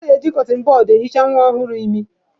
A na-eji kọtịn bọd ehicha nwa ọhụrụ imi.